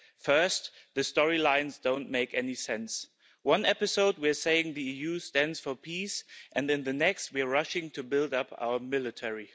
First, the storylines don't make any sense in one episode we are saying the EU stands for peace and in the next we are rushing to build up our military.